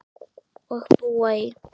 Og búa í